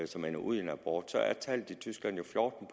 som ender ud i en abort at tallet i tyskland er fjorten